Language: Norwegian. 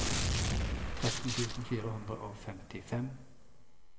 tretten tusen fire hundre og femtifem